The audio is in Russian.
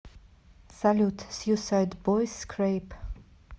салют сьюсайдбойс скрэйп